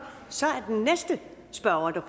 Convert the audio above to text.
så er den næste spørger